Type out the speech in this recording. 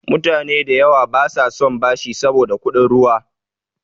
Mutane da yawa basa son bashi saboda kuɗin ruwa.